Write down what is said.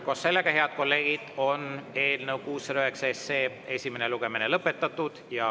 Koos sellega, head kolleegid, on eelnõu 609 esimene lugemine lõpetatud.